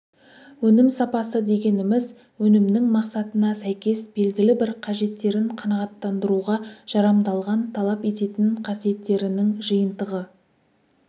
өнім сапасы дегеніміз өнімнің мақсатына сәйкес белгілі-бір қажеттерін қанағаттандыруға жарамдалған талап ететін қасиеттерінің жиынтығы